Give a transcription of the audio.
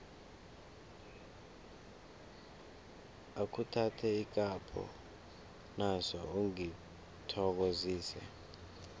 akhuthathe ikapho naso ungithokozise